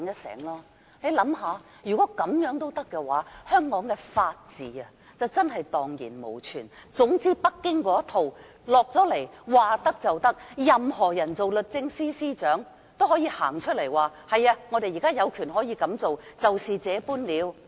大家試想想，如果這樣也可以，香港的法治便真的蕩然無存，總之北京的一套下達香港，不管律政司司長是誰，他也可以公開表示："是的，我們有權這樣做，就是這樣了"。